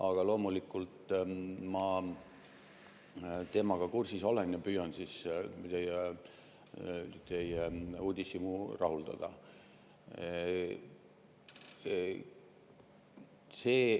Aga loomulikult, ma olen teemaga kursis ja püüan teie uudishimu rahuldada.